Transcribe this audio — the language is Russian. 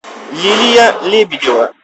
лилия лебедева